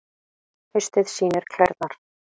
Haustið sýnir klærnar